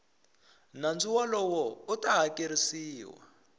nandzu wolowo u ta hakerisiwa